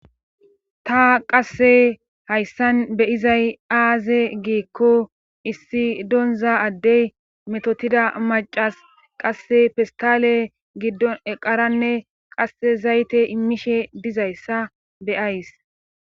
ta qasse hayssan beyizay aaze gikko issi donza addey metotida macas qasse fistale giddon eqaranne qasse zayte immishe dizayssa beyays